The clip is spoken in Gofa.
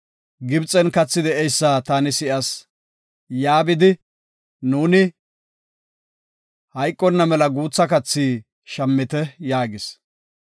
Gibxen kathi de7eysa taani si7as; yaa bidi, nuuni hayqonna mela guutha kathi shammite” yaagis.